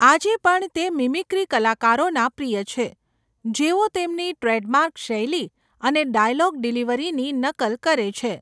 આજે પણ તે મિમિક્રી કલાકારોના પ્રિય છે, જેઓ તેમની ટ્રેડમાર્ક શૈલી અને ડાયલોગ ડિલિવરીની નકલ કરે છે.